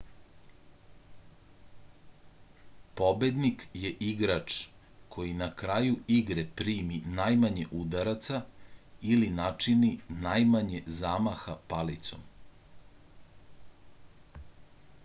pobednik je igrač koji na kraju igre primi najmanje udaraca ili načini najmanje zamaha palicom